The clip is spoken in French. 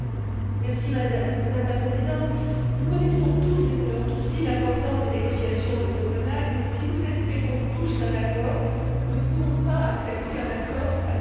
Madame la Présidente, nous connaissons tous, et nous l'avons tous dit, l'importance des négociations de Copenhague mais, si nous espérons tous un accord, nous ne pouvons pas accepter un accord à n'importe quel prix.